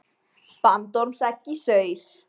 Bandormsegg í saur.